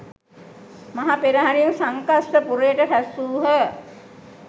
මහ පෙරහරින් සංකස්ස පුරයට රැස්වූහ